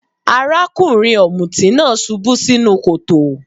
Arákùnrin ọ̀mùtí náà subú sínú kòtò.